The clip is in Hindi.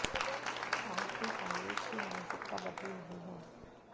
आज भी कांग्रेस की मानसिकता बदली नहीं है